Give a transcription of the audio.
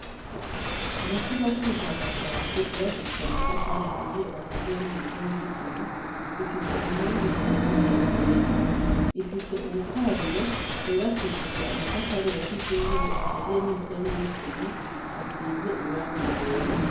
Mu cumba c'ubushakashatsi bwubakishije amatafari ahiye, akaziye n'umusenyi n'isima ,rifise inkingi isiz 'ibara ryera, ifise ubukarabiro bwubakishije amatafari ya k'izungu akaziye n'umusenyi n'isima, asize irangi ryera.